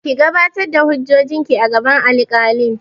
Ki gabatar da hujjojin ki a gaban alkalin!